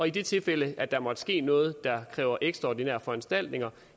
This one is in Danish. i det tilfælde der måtte ske noget der kræver ekstraordinære foranstaltninger